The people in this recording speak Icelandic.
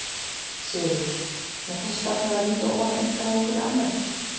Sigríður: Með þessa stefnu að vinda ofan af einkavæðingunni almennt?